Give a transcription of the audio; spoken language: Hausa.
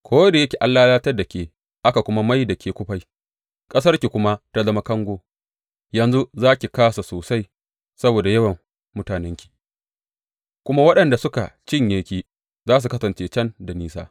Ko da yake an lalatar da ke aka kuma mai da ke kufai ƙasarki kuma ta zama kango, yanzu za ki kāsa sosai saboda yawan mutanenki, kuma waɗanda suka cinye ki za su kasance can da nisa.